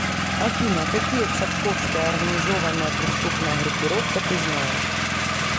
афина какие цапковская организованная преступная группировка ты знаешь